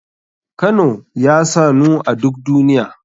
Kano ya sanu a duk duniya.